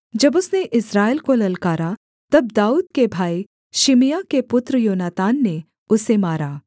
जब उसने इस्राएल को ललकारा तब दाऊद के भाई शिमआह के पुत्र योनातान ने उसे मारा